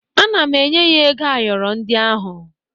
Ana m enye ya ego ayọrọ ndị ahụ